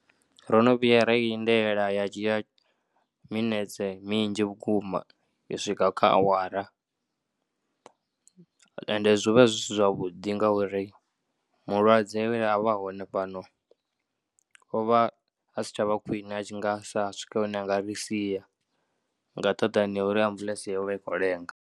Ro no vhuya ra i lindela ya dzhia minetse minzhi vhukuma i swika kha awara, ende zwi vha zwi si zwavhuḓi ngauri mulwadze we a vha a hone fhano o vha a si tshavha khwiṋe a tshi nga sa swike hune a nga ri sia nga nṱhaḓani ngauri ambuḽetse yo vha i khou lenga.